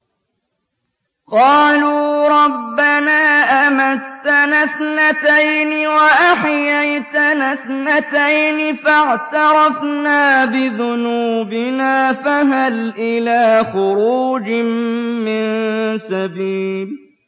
قَالُوا رَبَّنَا أَمَتَّنَا اثْنَتَيْنِ وَأَحْيَيْتَنَا اثْنَتَيْنِ فَاعْتَرَفْنَا بِذُنُوبِنَا فَهَلْ إِلَىٰ خُرُوجٍ مِّن سَبِيلٍ